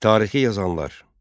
Tarixi yazanlar.